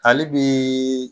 Hali bi